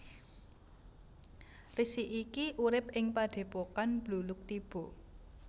Resi iki urip ing Padhépokan Bluluktiba